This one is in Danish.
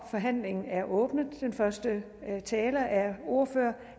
forhandlingen er åbnet og den første taler er ordfører